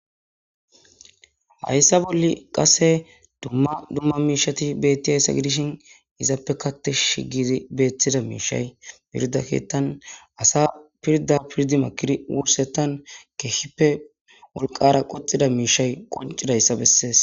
Haysa boli qase duma duma mishati betiyaysa gidishin izappekka tishi gidi betida mishay pirda kethan asa pirda pirdi makidi wursetani kehipe wolqara qodhida mishay qonc'idaysa beses.